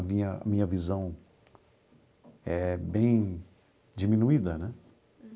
A minha minha visão é bem diminuída, né?